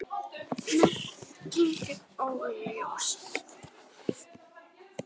Merking er óljós.